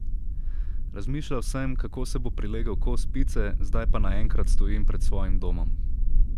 Razmišljal sem, kako se bo prilegel kos pice, zdaj pa naenkrat stojim pred svojim domom.